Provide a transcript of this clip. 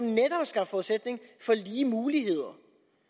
netop skabt forudsætning for lige muligheder